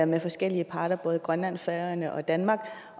med forskellige parter både grønland færøerne og danmark